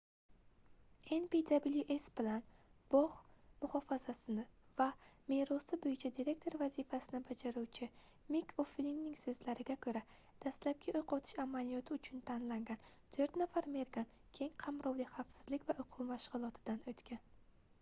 npws bilan bogʻ muhofazasi va merosi boʻyicha direktor vazifasini bajaruvchi mik oʻflinning soʻzlariga koʻra dastlabki oʻq otish amaliyoti uchun tanlangan toʻrt nafar mergan keng qamrovli xavfsizlik va oʻquv mashgʻulotidan oʻtgan